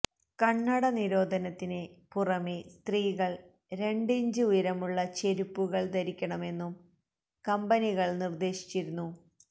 കണ്ണട നിരോധനത്തിന് പുറമേ സ്ത്രീകള് രണ്ട് ഇഞ്ച് ഉയരമുള്ള ചെരിപ്പുകള് ധരിക്കണമെന്നും കമ്പനികള് നിര്ദ്ദേശിച്ചിരുന്നു